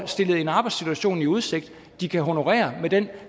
stillet en arbejdssituation i udsigt de kan honorere med den